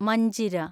Manjira